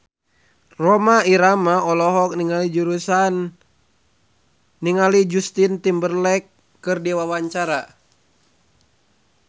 Rhoma Irama olohok ningali Justin Timberlake keur diwawancara